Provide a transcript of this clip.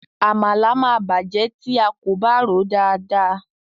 Àmàlà ma bàjẹ́ tí a kò bá ròó dada.